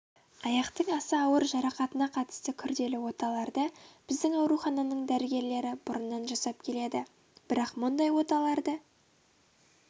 аяқтың аса ауыр жарақатына қатысты күрделі оталарды біздің аурухананың дәрігерлері бұрыннан жасап келеді бірақ мұндай оталарды